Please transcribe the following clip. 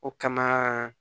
O kama